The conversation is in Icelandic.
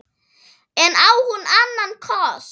En á hún annan kost?